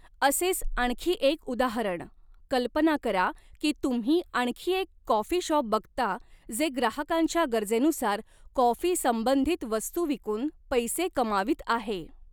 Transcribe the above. असेच आणखी एक उदाहरण, कल्पना करा की तुम्ही आणखी एक कॉफी शॉप बघता जे ग्राह्कांच्या गरजेनुसार कॉफी संबंधित वस्तू विकून पैसे कमावित आहे.